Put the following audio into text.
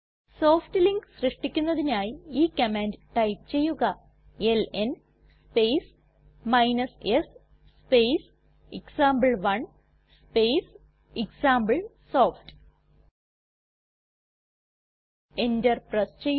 soft link സൃഷ്ടിക്കുന്നതിനായി ഈ command type ചെയ്യുക L N space s space example one space example soft enter press ചെയ്യുക